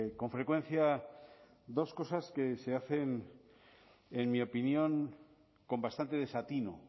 con frecuencia dos cosas que se hacen en mi opinión con bastante desatino